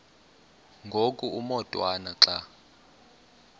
ngoku umotwana xa